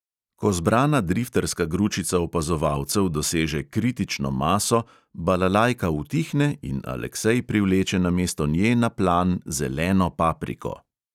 Ko zbrana drifterska gručica opazovalcev doseže kritično maso, balalajka utihne in aleksej privleče namesto nje na plan zeleno papriko.